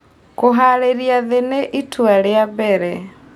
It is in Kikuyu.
Kũharĩrĩrĩa thĩĩ nĩ ĩtũa rĩa mbere